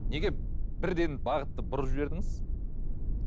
неге бірден бағытты бұрып жібердіңіз